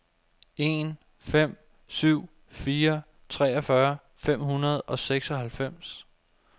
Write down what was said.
en fem syv fire treogfyrre fem hundrede og seksoghalvfems